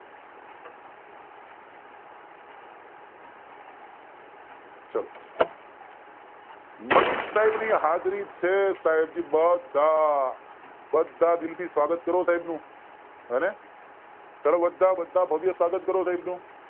ચલો મનીષ સાહેબ ની હાજરી છે સાહેબજી બધા બધા દિલ થી સ્વાગત કરો સાહેબ નું હોને ચાલો બધા બધા ભવ્ય સ્વાગત કરો સાહેબ